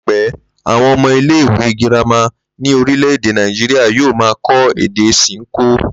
Láípé̩, àwo̩n o̩mo̩ ile-ìwé girama ní orílè̩-èdè Nàìjíríà yóò máa kó̩ èdè S̩inkó